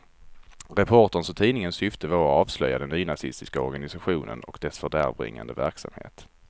Reporterns och tidningens syfte var att avslöja den nynazistiska organisationen och dess fördärvbringande verksamhet.